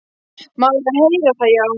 Maður er að heyra það, já.